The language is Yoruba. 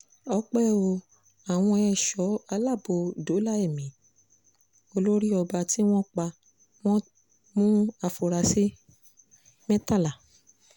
ọpẹ́ ò àwọn ẹ̀ṣọ́ aláàbò dóòlà ẹ̀mí olórí ọba tí wọ́n pa wọ́n mú àfúrásì mẹ́tàlá